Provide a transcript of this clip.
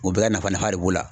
U bɛɛ ka nafa nafa de b'o la.